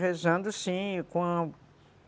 Rezando, sim, com